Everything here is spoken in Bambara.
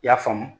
I y'a faamu